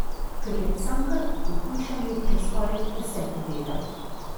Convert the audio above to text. Ker je Cankar v Pohujšanju že skoraj vse povedal!